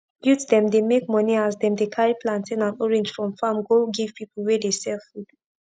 youth dem dey make moni as dem dey carri plantain and orange from farm go give pipu wey dey sell food